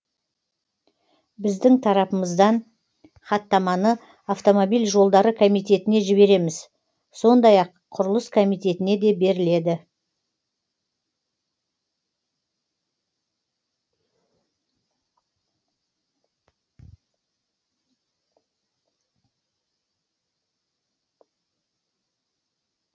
біздің тарапымыздан хаттаманы автомобиль жолдары комитетіне жібереміз сондай ақ құрылыс комитетіне де беріледі